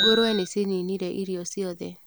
Ngũrũwe nĩcininire irio ciothe.